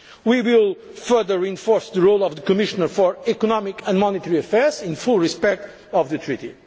governance. We will further reinforce the role of the Commissioner for Economic and Monetary Affairs in full respect of